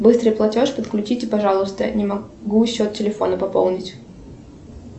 быстрый платеж подключите пожалуйста не могу счет телефона пополнить